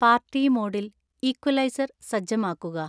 party മോഡിൽ equalizer സജ്ജമാക്കുക